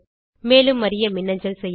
மேலும் அறிய மின்னஞ்சல் செய்யவும்